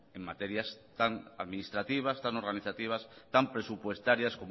en materias tan administrativas tan organizativas tan presupuestarias